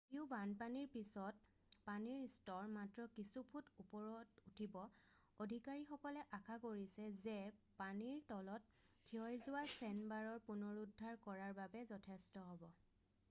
যদিও বানপানীৰ পিছত পানীৰ স্তৰ মাত্ৰ কিছু ফুট ওপৰত উঠিব অধিকাৰীসকলে আশা কৰিছে যে পানীৰ তলত ক্ষয়যোৱা চেণ্ডবাৰৰ পুনৰুদ্ধাৰ কৰাৰ বাবে যথেষ্ট হ'ব